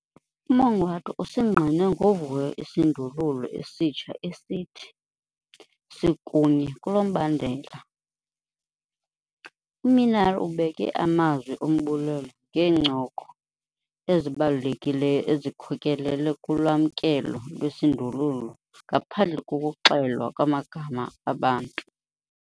UMongoato usingqine ngovuyo isindululo esitsha esithi- 'Sikunye kulo mbandela'. UMinnaar ubeke amazwi ombulelo ngeencoko ezibalulekileyo ezikhokelele kulwamkelo lwesi sindululo ngaphandle kokuxelwa kwamagama abantu.